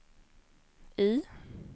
I